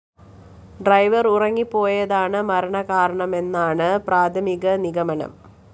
driver‍ ഉറങ്ങിപ്പോയതാണ് മരണകാരണമെന്നാണ് പ്രാഥമിക നിഗമനം